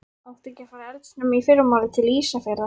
Áttu ekki að fara eldsnemma í fyrramálið til Ísafjarðar?